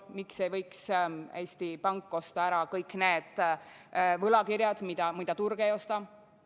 Miks ei võiks Eesti Pank osta ära kõik need võlakirjad, mida turg ei osta?